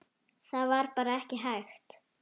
Það var bara ekki hægt.